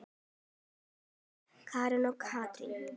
Munið Björg, Karen og Katrín.